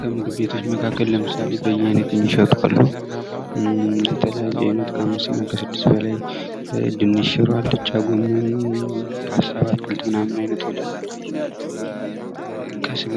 ከምግብ ቤቶች መካከል ለምሳሌ በያይነቱ የሚሸጡ አሉ የተለያየ አይነት ከአምስት እና ከስድስት በላይ ድንች ሽሮ አልጫ ጎመን ፓስታ በአትክልት ምናምን ዓይነቶች ከስጋ